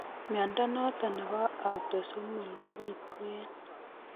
Mnyondo noton nebo Autosomal kobitu en